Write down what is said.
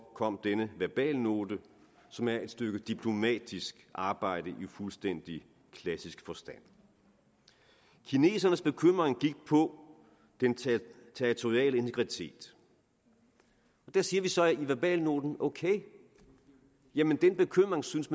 kom denne verbalnote som er et stykke diplomatisk arbejde i fuldstændig klassisk forstand kinesernes bekymring gik på den territoriale integritet og der siger vi så i verbalnoten ok jamen den bekymring synes